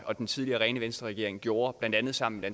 og den tidligere rene venstreregering har gjort blandt andet sammen